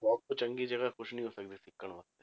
Job ਤੋਂ ਚੰਗੀ ਜਗ੍ਹਾ ਕੁਛ ਨੀ ਹੋ ਸਕਦਾ ਸਿੱਖਣ ਵਾਸਤੇ